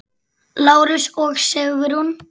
Lárus og Sigrún.